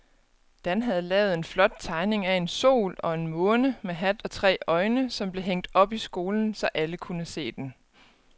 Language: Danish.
Dan havde lavet en flot tegning af en sol og en måne med hat og tre øjne, som blev hængt op i skolen, så alle kunne se den.